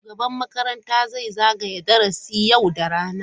Shugaban makaranta zai zagaya darasi yau da rana.